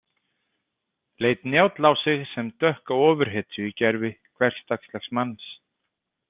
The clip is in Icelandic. Leit Njáll á sig sem dökka ofurhetju í gervi hversdagslegs manns?